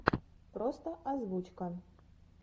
просто озвучка